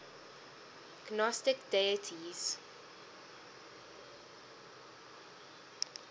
gnostic deities